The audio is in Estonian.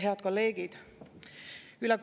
Head kolleegid!